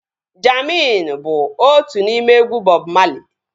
Jammin bụ otu n'ime egwu Bọb Mali